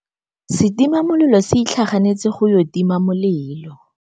Setima molelô se itlhaganêtse go ya go tima molelô.